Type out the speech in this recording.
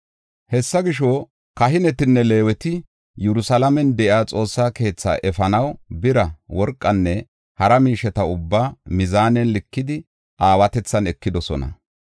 Hessa gisho, kahinetinne Leeweti Yerusalaamen de7iya Xoossa keethi efanaw bira, worqanne hara miisheta ubbaa mizaanen likidi aawatethan ekidosona.